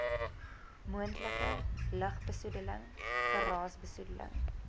moontlike lugbesoedeling geraasbesoedeling